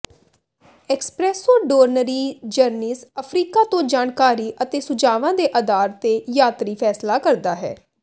ਐਕਸਪ੍ਰੈਸੋਡੋਰਨਰੀ journeys Africa ਤੋਂ ਜਾਣਕਾਰੀ ਅਤੇ ਸੁਝਾਵਾਂ ਦੇ ਆਧਾਰ ਤੇ ਯਾਤਰੀ ਫ਼ੈਸਲਾ ਕਰਦਾ ਹੈ